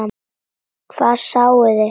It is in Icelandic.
Hvað sáuði?